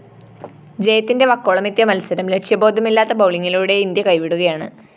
ജയത്തിന്റെ വക്കോളമെത്തിയ മത്സരം ലക്ഷ്യബോധമില്ലാത്ത ബൗളിംഗിലൂടെ ഇന്ത്യ കൈവിടുകയാണ്‌